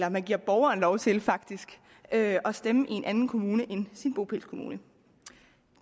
og man giver borgeren lov til faktisk at stemme i en anden kommune end sin bopælskommune